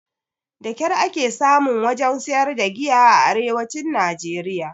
Da ƙyar ake samun wajen sayar da giya a arewacin najeriya